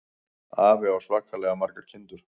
Afi á svakalega margar kindur.